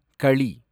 களி